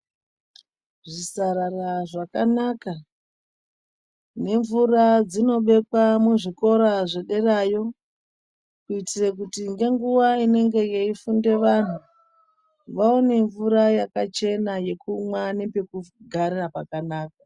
Zvisarara zvakanaka nemvura dzinobekwa muzvikora zvedera yo. Kuitira kuti ngenguwa inenge yeifunda vantu vaone mvura yakachena yekumwa nepekugarira pakanaka.